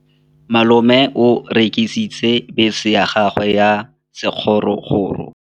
Malome o rekisitse bese ya gagwe ya sekgorokgoro.